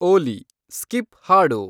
ಓಲಿ, skip ಹಾಡು